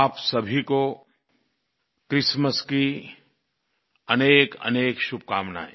आप सभी को क्रिसमस की अनेकअनेक शुभकामनायें